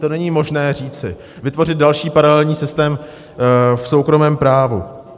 To není možné říci, vytvořit další paralelní systém v soukromém právu.